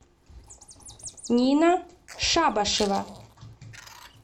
нина шабашева